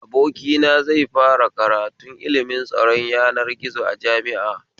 Abokina zai fara kratun ilimin tsaron yanar gizo a jami'a